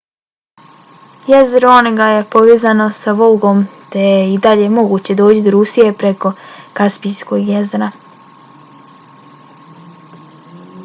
jezero onega je povezano i s volgom te je i dalje moguće doći do rusije preko kaspijskog jezera